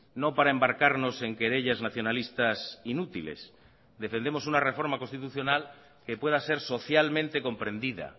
no para embarcarnos en querellas nacionalistas inútiles defendemos una reforma constitucional que pueda ser socialmente comprendida